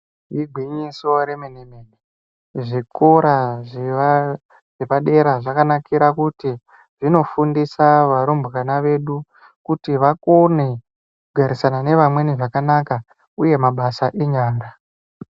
Igwinyiso remene mene zvikora zvepadera zvakanakira kuti zvinofundisa varumbwana vedu kuti vakone kugarisana nevamweni zvakanaka uye mabasa enyara.